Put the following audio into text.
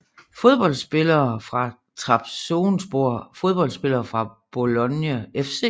Fodboldspillere fra Trabzonspor Fodboldspillere fra Bologna FC